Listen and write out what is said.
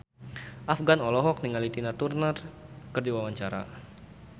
Afgan olohok ningali Tina Turner keur diwawancara